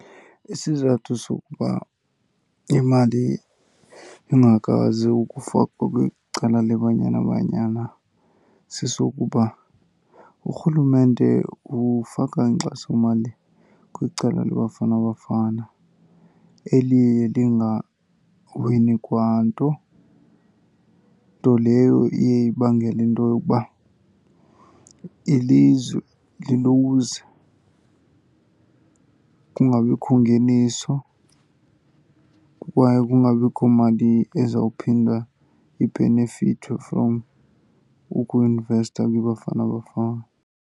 Isizathu sokuba imali ingakwazi ukufakwa kwicala leBanyana Banyana sesokuba urhulumente ufaka inkxasomali kwicala leBafana Bafana eliye lingawini kwa nto. Nto leyo iye ibangele into yokuba ilizwe liluze, kungabikho ngeniso kwaye kungabikho mali ezawuphinda ibhenefithwe from ukuinvesta kwiBafana Bafana.